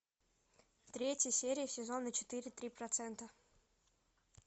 третья серия сезона четыре три процента